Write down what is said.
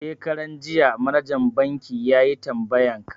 Shekaran jiya manajan banki yayi tambayan ka